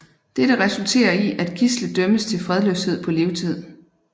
Dette resulterer i at Gisle dømmes til fredløshed på livstid